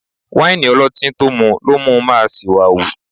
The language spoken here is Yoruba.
Wáìnì ọlọ́tín tó mú lo mú ń máa ṣìwàhù